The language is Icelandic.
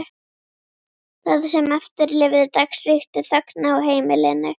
Það sem eftir lifði dags ríkti þögn á heimilinu.